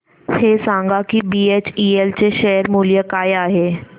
हे सांगा की बीएचईएल चे शेअर मूल्य काय आहे